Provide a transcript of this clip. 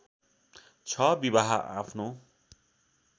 ६ विवाह आफ्नो